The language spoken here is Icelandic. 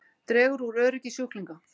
Dregur úr öryggi sjúklinga